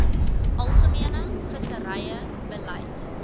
algemene visserye beleid